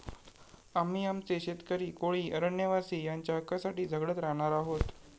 आम्ही आमचे शेतकरी, कोळी, अरण्यवासी यांच्या हक्कासाठी झगडत राहणार आहोत.